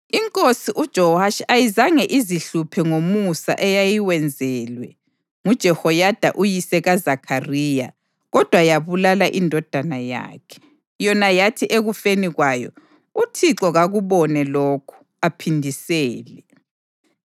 INkosi uJowashi ayizange izihluphe ngomusa eyayiwenzelwe nguJehoyada uyise kaZakhariya kodwa yabulala indodana yakhe, yona yathi ekufeni kwayo, “ UThixo kakubone lokhu, aphindisele.”